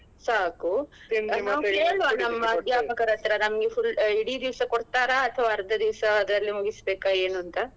ಸಾಕು ಅಧ್ಯಾಪಕರತ್ರ ನಮ್ಗೆ full ಇಡೀ ದಿವ್ಸ ಕೊಡ್ತಾರಾ ಅಥವಾ ಅರ್ಧ ದಿವ್ಸದಲ್ಲೇ ಮುಗಿಸ್ಬೇಕಾ ಏನು ಅಂತ.